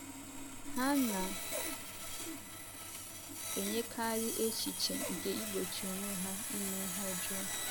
Ha na - enyekarị echiche nke igbochi onwe ha ime ihe ọjọọ.